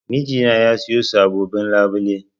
Mijina ya sayo sabobbin labule.